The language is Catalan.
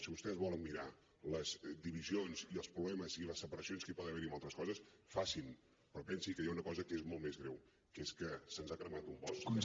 si vostès volen mirar les divisions i els problemes i les separacions que hi poden haver en altres coses facin però pensi que hi ha una cosa que és molt més greu que és que se’ns ha cremat un bosc